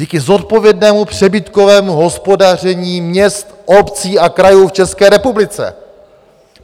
Díky zodpovědnému přebytkovému hospodaření měst, obcí a krajů v České republice.